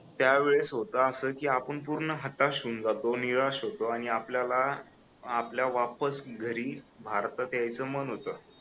त्यावेळेस होत अस कि आपण पूर्ण हताश होऊन जातो निराश होतो आणि आपल्याला आपल्या वापस घरी भारतात यायच मन होत